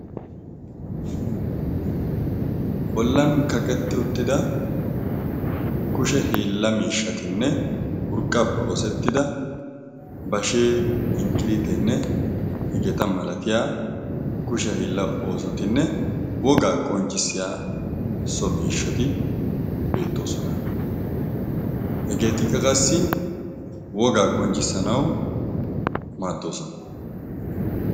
bollan kaqettdi uttida kushe hiilla miishshatinne urqqappe oosettida bashee inkkiriitinne hegeeta malatiya kusha hiilla oosotinne wogaa qonccissiya so miishshati beettoosona hegeeti qaqassi wogaa qonccissanau maaddoosona